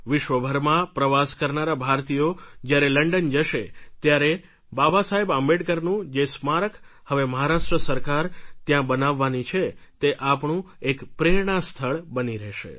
વિશ્વભરમાં પ્રવાસ કરનારા ભારતીયો જ્યારે લંડન જશે ત્યારે બાબાસાહેબ આંબેડકરનું જે સ્મારક હવે મહારાષ્ટ્ર સરકાર ત્યાં બનાવવાની છે તે આપણું એક પ્રેરણા સ્થળ બની રહેશે